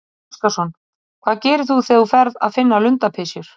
Gísli Óskarsson: Hvað gerir þú þegar þú ferð að finna lundapysjur?